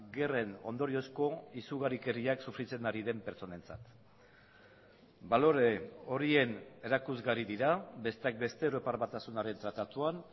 gerren ondoriozko izugarrikeriak sufritzen ari den pertsonentzat balore horien erakusgarri dira besteak beste europar batasunaren tratatuan